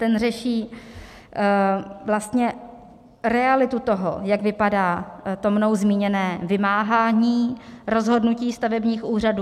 Ten řeší vlastně realitu toho, jak vypadá mnou zmíněné vymáhání rozhodnutí stavebních úřadů.